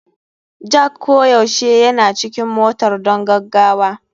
Jack koyaushe yana cikin motar don gaggawa.